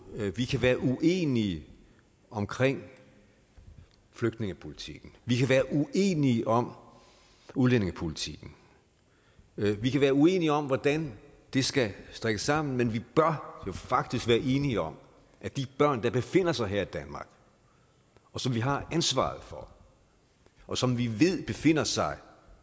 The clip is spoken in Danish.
at ja vi kan være uenige om flygtningepolitikken vi kan være uenige om udlændingepolitikken vi kan være uenige om hvordan det skal strikkes sammen men vi bør faktisk være enige om at de børn der befinder sig her i danmark og som vi har ansvaret for og som vi ved i befinder sig